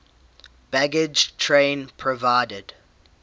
baggage train provided